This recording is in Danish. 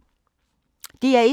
DR1